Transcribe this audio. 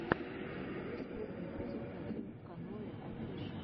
у тебя есть первый эпизод одинвканоеофишэл